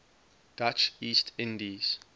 dutch east indies